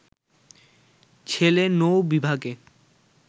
ছেলে নৌ-বিভাগে